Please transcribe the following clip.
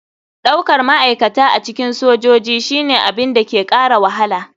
Daukar ma'aikata a cikin sojoji shine abin da ke kara wahala.